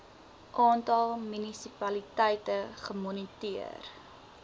aantal munisipaliteite gemoniteer